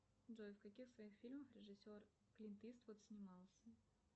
джой в каких своих фильмах режиссер клинт иствуд снимался